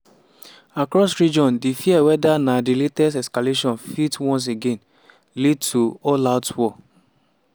across region di fear whether na di latest escalation fit once again lead to all-out war.